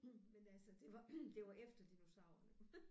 Men altså det var det var efter dinosauerne